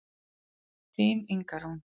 Þín Inga Rún.